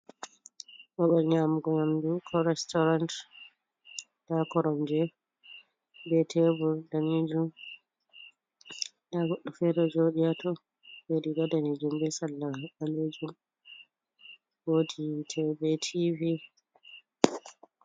Babal nyaamugo yamdu ko restoran, ndaa koromje be tebur daneejum. Ndaa goɗɗo feere, ɗo jooɗi haato riiga daneejum be salla ɓaleejum, woodi yiite be tiivi.